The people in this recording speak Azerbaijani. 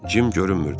Cim görünmürdü.